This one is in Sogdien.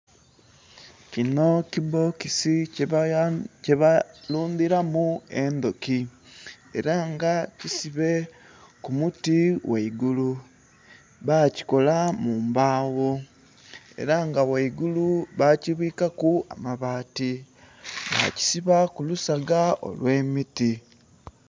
Kinho kibbokisi kye ba lundhiramu endhuki era nga kisibe ku muti ghaigulu, bakikola mu mbagho era nga ghaigulu bakibwikaku amabati, bakisiba ku lusaga olwe miti.